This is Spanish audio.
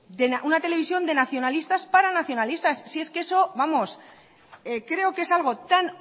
una televisión de nacionalistas para nacionalistas si es que eso vamos creo que es algo tan